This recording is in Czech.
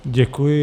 Děkuji.